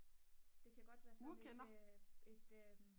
det kan godt være sådan et et